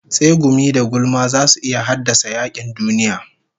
Tsegumi da gulma zasu iya haddasa yakin duniya